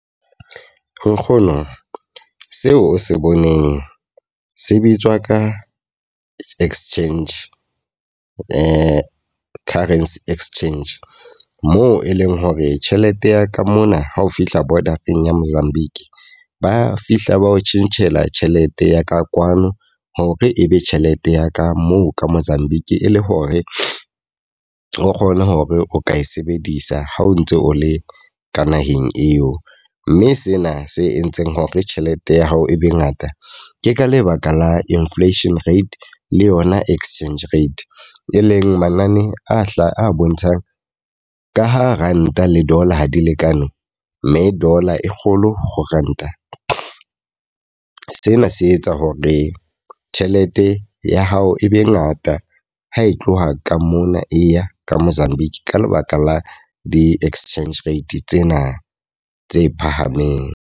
Nkgono, seo o se boneng se bitswa ka exchange currency exchange. Moo e leng hore tjhelete ya ka mona ha o fihla border-eng ya Mozambique, ba fihla ba o tjhentjhela tjhelete ya ka kwano hore e be tjhelete ya ka moo ka Mozambique. E le hore o kgone hore o ka e sebedisa ha o ntse o le ka naheng eo. Mme sena se entseng hore tjhelete ya hao e be ngata. Ke ka lebaka la inflation rate le yona exchange rate. E leng manane a hlaha, a bontshang ka ha Ranta le Dollar ha di lekane, mme Dollar e kgolo ho Ranta. Sena se etsa hore tjhelete ya hao e be ngata ha e tloha ka mona e ya ka Mozambique ka lebaka la di-exchange rate tsena tse phahameng.